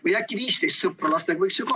Või äkki 15 sõpra lastega?